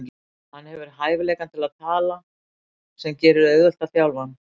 Hann hefur hæfileikann til að tala sem gerir auðvelt að þjálfa hann.